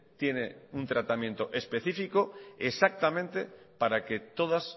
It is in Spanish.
tiene un tratamiento específico exactamente para que todas